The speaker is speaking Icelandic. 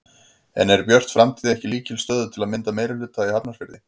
En er Björt framtíð ekki í lykilstöðu til að mynda meirihluta í Hafnarfirði?